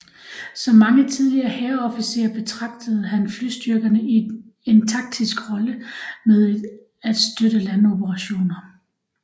Som mange tidligere hærofficerer betragtede han flystyrkerne i en taktisk rolle med at støtte landoperationer